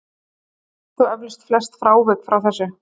Við þekkjum þó eflaust flest frávik frá þessu.